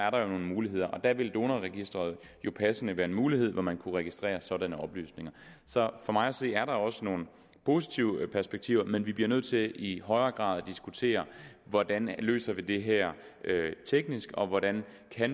nogle muligheder og der ville donorregisteret jo passende være en mulighed hvor man kunne registrere sådanne oplysninger så for mig at se er der også nogle positive perspektiver men vi bliver nødt til i højere grad at diskutere hvordan vi løser det her teknisk og hvordan